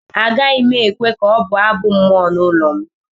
Agaghị m ekwe ka ọ bụọ Abụ mmụọ n’ụlọ m